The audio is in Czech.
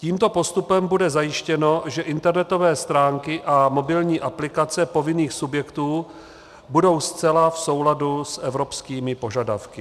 Tímto postupem bude zajištěno, že internetové stránky a mobilní aplikace povinných subjektů budou zcela v souladu s evropskými požadavky.